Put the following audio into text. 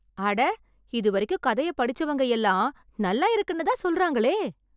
அட! இதுவரைக்கும் கதையப் படிச்சவங்கள் எல்லாம் நல்லா இருக்குன்னு தான் சொல்லுறாங்களே!